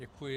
Děkuji.